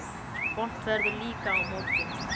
Vont veður líka á morgun